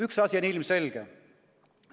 Üks asi on ilmselge.